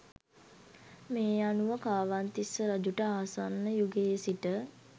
මේ අනුව කාවන්තිස්ස රජුට ආසන්න යුගයේ සිට